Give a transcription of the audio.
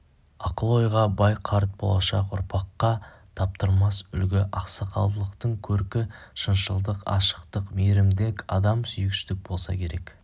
ақыл-ойға бай қарт болашақ ұрпаққа таптырмас үлгі ақсақалдылықтың көркі шыншылдық ашықтық мейірімділік адам сүйгіштік болса керек